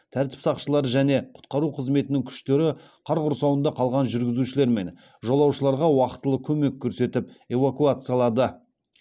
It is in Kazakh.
тәртіп сақшылары және құтқару қызметінің күштері қар құрсауында қалған жүргізушілер мен жолаушыларға уақтылы көмек көрсетіп эвакуациялады